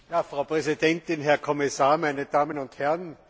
Frau Präsidentin, Herr Kommissar, meine Damen und Herren!